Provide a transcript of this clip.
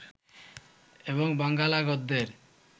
এবং বাঙ্গালা গদ্যের